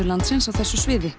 landsins á þessu sviði